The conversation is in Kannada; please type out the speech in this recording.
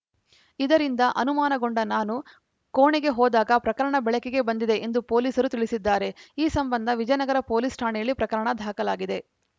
ಇದರಿಂದ ಅನುಮಾನಗೊಂಡ ನಾನು ಕೋಣೆಗೆ ಹೋದಾಗ ಪ್ರಕರಣ ಬೆಳಕಿಗೆ ಬಂದಿದೆ ಎಂದು ಪೊಲೀಸರು ತಿಳಿಸಿದ್ದಾರೆ ಈ ಸಂಬಂಧ ವಿಜಯನಗರ ಪೊಲೀಸ್‌ ಠಾಣೆಯಲ್ಲಿ ಪ್ರಕರಣ ದಾಖಲಾಗಿದೆ